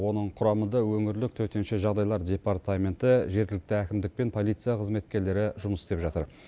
оның құрамында өңірлік төтенше жағдайлар департаменті жергілікті әкімдік пен полиция қызметкерлері жұмыс істеп жатыр